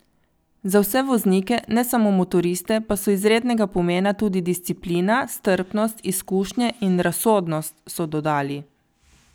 Za vse voznike, ne samo motoriste, pa so izrednega pomena tudi disciplina, strpnost, izkušnje in razsodnost, so dodali.